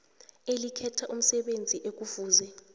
elikhetha umsebenzi ekufuze